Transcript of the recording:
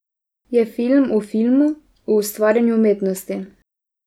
Je film o filmu, o ustvarjanju umetnosti.